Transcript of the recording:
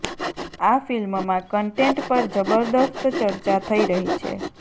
આ ફિલ્મમાં કન્ટેન્ટ પર જબરદસ્ત ચર્ચા થઈ રહી છે